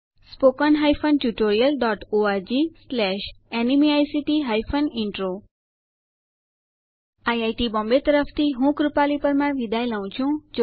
spoken hyphen tutorial dot ORG slash NMEICT hyphen intro IIT Bombay તરફથી ભાષાંતર કરનાર હું કૃપાલી પરમાર વિદાય લઉં છું